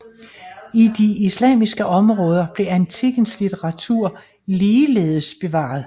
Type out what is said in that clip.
I de islamiske områder blev antikkens litteratur ligeledes bevaret